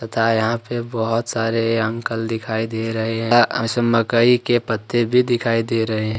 था यहां पर बहुत सारे अंकल दिखाई दे रहे हैं मकई के पत्ते भी दिखाई दे रहे हैं।